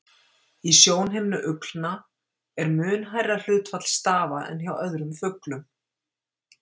Í sjónhimnu uglna er mun hærra hlutfall stafa en hjá öðrum fuglum.